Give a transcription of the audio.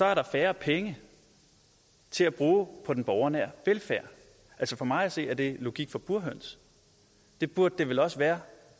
er der færre penge til at bruge på den borgernære velfærd altså for mig at se er det logik for burhøns det burde det vel også være